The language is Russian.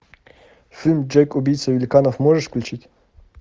фильм джек убийца великанов можешь включить